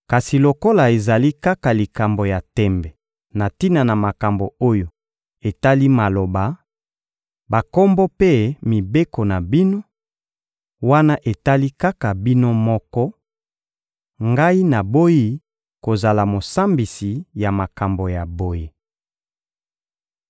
Kasi lokola ezali kaka likambo ya tembe na tina na makambo oyo etali maloba, bakombo mpe mibeko na bino, wana etali kaka bino moko; ngai naboyi kozala mosambisi ya makambo ya boye.